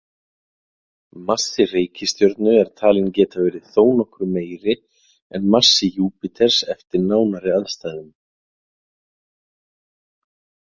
Massi reikistjörnu er talinn geta verið þó nokkru meiri en massi Júpíters eftir nánari aðstæðum.